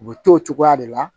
U bɛ to o cogoya de la